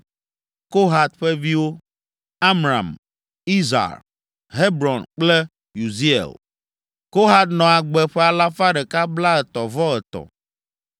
Kohat ƒe viwo: Amram, Izhar, Hebron kple Uziel. Kohat nɔ agbe ƒe alafa ɖeka blaetɔ̃-vɔ-etɔ̃ (133).